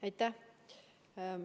Aitäh!